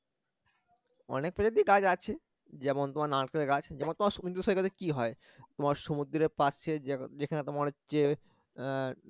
অনেক প্রজাতির গাছ আছে যেমন তোমার নারকেল গাছ যেমন তোমার সমুদ্র সৈকতে কি হয় তোমার সমুদ্রে পাশে যেখানে তোমার হচ্ছে আহ